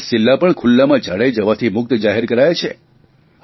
10 જિલ્લા પણ ખુલ્લામાં ઝાડે જવાથી મુક્ત જાહેર કરાયા છે